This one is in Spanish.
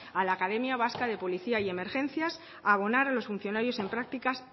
a la academia vasca de policía y emergencias a abonar a los funcionarios en prácticas